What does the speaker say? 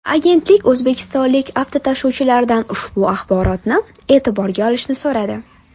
Agentlik o‘zbekistonlik avtotashuvchilardan ushbu axborotni e’tiborga olishni so‘radi.